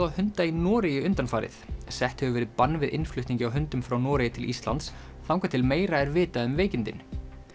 á hunda í Noregi undanfarið sett hefur verið bann við innflutningi á hundum frá Noregi til Íslands þangað til meira er vitað um veikindin